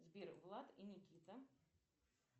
сбер влад и никита